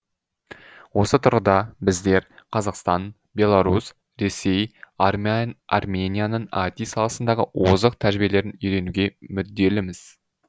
осы тұрғыда біздер қазақстан беларусь ресей арменияның іт саласындағы озық тәжірибелерін үйренуге мүдделіміз